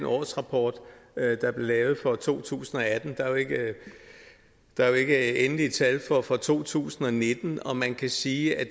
årsrapport der blev lavet for to tusind og atten der er jo ikke endelige tal for for to tusind og nitten og man kan sige at